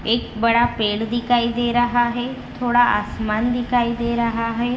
एक बड़ा पेड़ दिखाई दे रहा है थोड़ा आसमान दिखाई दे रहा है।